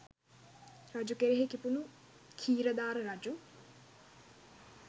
රජු කෙරෙහි කිපුණු ඛීරධාර රජු